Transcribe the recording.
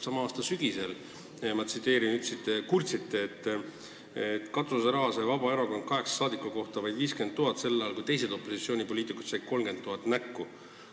Sama aasta sügisel kurtsite, et Vabaerakond sai kaheksa saadiku peale vaid 50 000 eurot katuseraha, samal ajal kui teised opositsioonipoliitikud said 30 000 näkku.